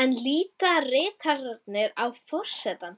Enn líta ritararnir á forsetann